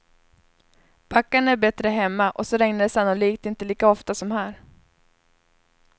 Backarna är bättre hemma och så regnar det sannolikt inte lika ofta som här.